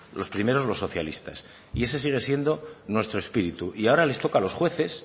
los primeros los socialistas y ese sigue siendo nuestro espíritu y ahora les toca a los jueces